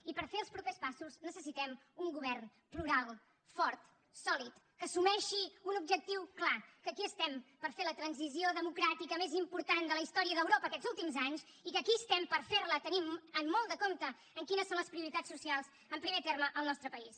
i per fer els propers passos necessitem un govern plural fort sòlid que assumeixi un objectiu clar que aquí estem per fer la transició democràtica més important de la història d’europa aquests últims anys i que aquí estem per fer la tenint molt de compte quines són les prioritats socials en primer terme al nostre país